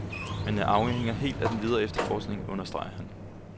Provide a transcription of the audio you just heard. Men det afhænger helt af den videre efterforskning, understreger han.